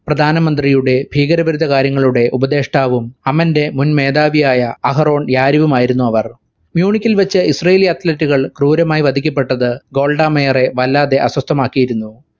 പ്രധാനമന്ത്രിയുടെ ഭീകരവിരുദ്ധകാര്യങ്ങളുടെ ഉപദേഷ്ടാവും അമന്റെ മുൻമേധാവിയായ അഹരോൺ യാരിവുമായിരുന്നു അവർ. മ്യുണിക്കിൽ വെച്ച് israeli athlete റ്റുകൾ ക്രൂരമായി വധിക്കപ്പെട്ടത് ഗോൾഡ മേയറെ വല്ലാതെ അസ്വസ്ഥാമാക്കിയിരുന്നു.